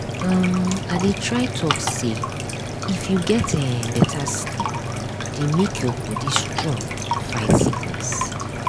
um i dey try talk say if you get eh better sleep dey make your body strong fight sickness